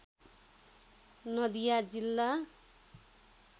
नदिया जिल्ला